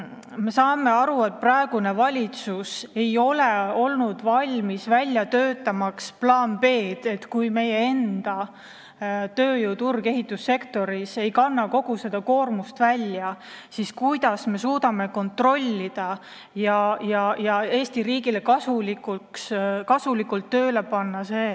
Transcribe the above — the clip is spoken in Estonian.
Me saame aru, et praegune valitsus ei ole olnud valmis välja töötama plaani B, et kui meie enda tööjõud ehitussektoris ei kanna kogu seda koormust välja, siis kuidas me suudame seda kontrollida ja Eesti riigile kasulikult tööle saada.